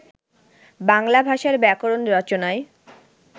বাংলা ভাষার ব্যাকরণ রচনায়